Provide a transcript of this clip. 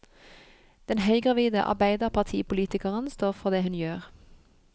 Den høygravide arbeiderpartipolitikeren står for det hun gjør.